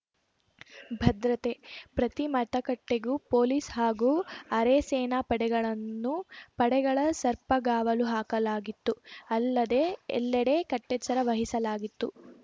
ಭದ್ರತೆ ಪ್ರತಿ ಮತಗಟ್ಟೆಗೂ ಪೊಲೀಸ್‌ ಹಾಗೂ ಅರೆಸೇನಾ ಪಡೆಗಳನ್ನು ಪಡೆಗಳ ಸರ್ಪಗಾವಲು ಹಾಕಲಾಗಿತ್ತು ಅಲ್ಲದೆ ಎಲ್ಲೆಡೆ ಕಟ್ಟೆಚ್ಚರ ವಹಿಸಲಾಗಿತ್ತು